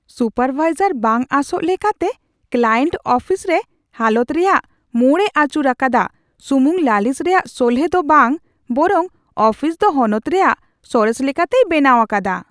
Supervisor ᱵᱟᱝᱟᱸᱥᱚᱜ ᱞᱮᱠᱟᱛᱮ client ᱚᱯᱷᱤᱥᱨᱮ ᱦᱟᱞᱚᱛ ᱨᱮᱭᱟᱜ ᱢᱳᱲ ᱮ ᱟᱹᱪᱩᱨ ᱟᱠᱟᱫᱟ ᱥᱩᱢᱩᱝ ᱞᱟᱹᱞᱤᱥ ᱨᱮᱭᱟᱜ ᱥᱚᱞᱦᱮ ᱫᱚ ᱵᱟᱝ ᱵᱚᱨᱚᱝ ᱚᱯᱷᱤᱥ ᱫᱚ ᱦᱚᱱᱚᱛ ᱨᱮᱭᱟᱜ ᱥᱚᱨᱮᱥ ᱞᱮᱠᱟᱛᱮᱭ ᱵᱮᱱᱟᱣ ᱟᱠᱟᱫᱟ ᱾